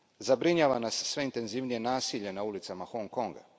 Zabrinjava nas sve intenzivnije nasilje na ulicama Hong Konga.